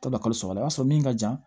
Ka bɛn kalo saba la o y'a sɔrɔ min ka jan